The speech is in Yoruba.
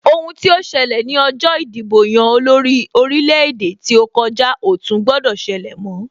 Ohun tí ó ṣẹlẹ̀ ní ọjọ ìdìbò-yan-olórí orílẹ̀-èdè tí ó kòjá ò tún gbọdọ̀ ṣẹlẹ mọ́,